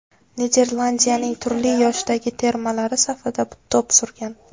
Niderlandiyaning turli yoshdagi termalari safida to‘p surgan.